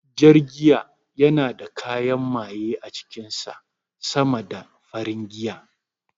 Jar giya yana da kayan maye a cikin sa sama da farin giya